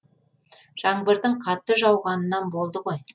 жаңбырдың қатты жауғанынан болды ғой